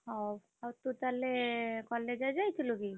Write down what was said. ହଉ, ହଉ ତୁ ତାହେଲେ college ଆଜି ଯାଇଥିଲୁ କି?